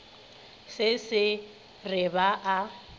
se se re ba a